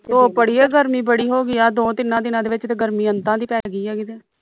ਧੁੱਪ ਅੜੀਏ ਗਰਮੀ ਬੜੀ ਹੋ ਗਈ ਆ ਆਹ ਦੋ ਤਿੰਨਾਂ ਦੇ ਵਿਚ ਤੇ ਗਰਮੀ ਅੰਤਾਂ ਦੀ ਪੈ ਗਈ ਆ ਕਿਤੇ